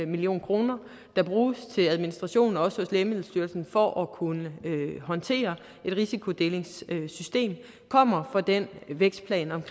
million kr der bruges til administration hos lægemiddelstyrelsen for at kunne håndtere et risikodelingssystem kommer fra den vækstplan om